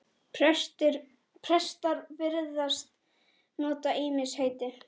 Prestar virðast nota ýmis heiti.